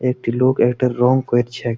একটি লোক এটার রং করছ্যা।